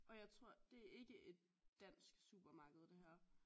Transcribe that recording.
Og jeg tror det er ikke et dansk supermarked det her